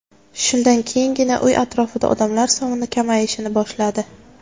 Shundan keyingina uy atrofida odamlar soni kamayishni boshladi.